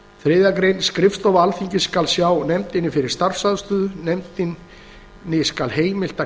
verklagsreglur þriðju grein skrifstofa alþingis skal sjá nefndinni fyrir starfsaðstöðu nefndinni skal heimilt að